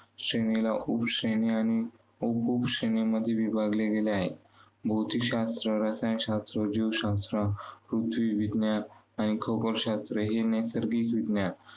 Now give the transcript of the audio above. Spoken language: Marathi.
श्रेणीला उपश्रेणी आणि उपउपश्रेणीमध्ये विभागले गेले आहे. भौतिकशास्त्र, रसायनशास्त्र, सजीवशास्त्र, पृथ्वीविज्ञान, आणि खगोलशास्त्र हे नैसर्गिक विज्ञान